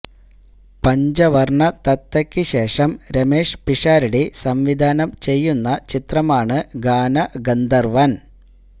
പഞ്ചവർണ്ണ തത്തയ്ക്ക് ശേഷം രമേഷ് പിഷാരടി സംവിധാനം ചെയ്യുന്ന ചിത്രമാണ് ഗാനഗന്ധർവൻ